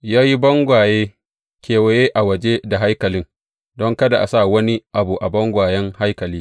Ya yi bangaye kewaye a waje da haikalin don kada a sa wani abu a bangayen haikali.